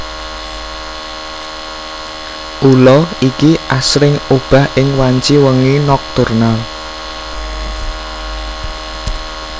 Ula iki asring obah ing wanci wengi nokturnal